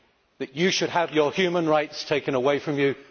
that you should have your human rights taken away from you?